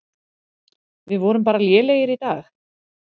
Við vorum bara lélegir í dag.